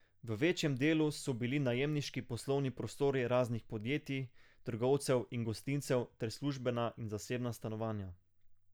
V večjem delu so bili najemniški poslovni prostori raznih podjetij, trgovcev in gostincev ter službena in zasebna stanovanja.